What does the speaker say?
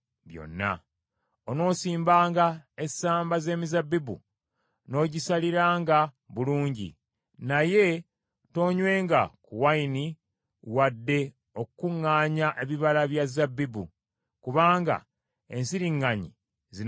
Onoosimbanga essamba z’emizabbibu n’ogisaliranga bulungi, naye toonywenga ku nvinnyo wadde okukuŋŋaanya ebibala bya zabbibu, kubanga ensiriŋŋanyi zinaabiryanga.